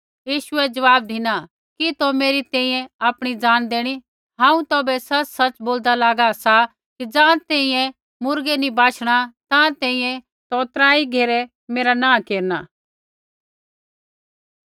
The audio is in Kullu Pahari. यीशुऐ ज़वाब धिना कि तौ मेरी तैंईंयैं आपणी जान देणी हांऊँ तौभै सच़सच़ बोलदा लागा सा कि ज़ाँ तैंईंयैं मुर्गा नैंई बाशणा ताँ तैंईंयैं तू त्राई घेरै मेरा नाँह नैंई केरना